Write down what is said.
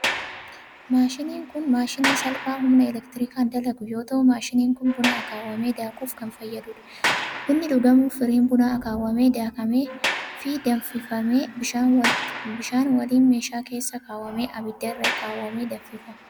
Maashiniin kun maashinii salphaa humna elektirikaan dalagu yoo ta'u, maashiniin kun buna akaawwamee daakuuf kan fayyaduu dha. Bunni dhugamuuf firiin bunaa akaawwamee, daakamee, fi danfifamee bishaan waliin meeshaa keessa kaawwamee ibidda irra kaawwamee danfifama.